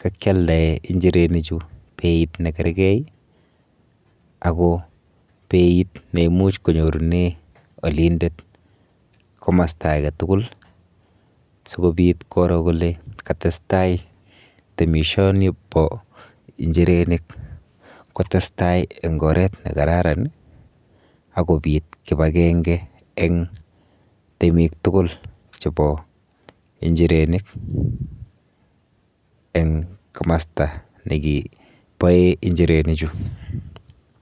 kakyaldae injirenichu beit nekergei ako beit neimuch konyorune alindet komasta aketugul sikobit koro kole katestai temishonipo injirenik kotestai eng oret nekararan akopit kipakenge eng' temiktugul chepo injirenik eng kimasta nekiboe injirenichu.